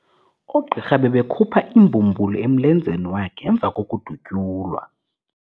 Oogqirha bebekhupha imbumbulu emlenzeni wakhe emva kokudutyulwa.